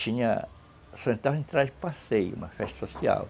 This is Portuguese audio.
Só entrava passeio, uma festa